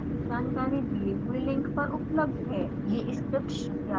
इस मिशन पर अधिक जानकारी दिए हुए लिंक पर उपलब्ध है